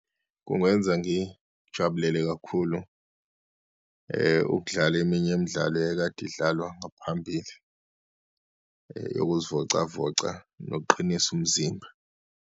Kungenza ngijabulele kakhulu ukudlala eminye imidlalo eyayikade idlalwa ngaphambili yokuzivocavoca nokuqinisa umzimba.